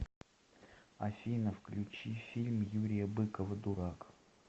афина включи фильм юрия быкова дурак